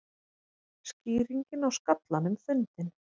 Skýringin á skallanum fundin